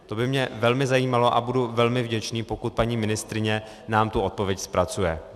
To by mě velmi zajímalo a budu velmi vděčný, pokud paní ministryně nám tu odpověď zpracuje.